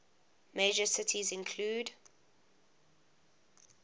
major cities include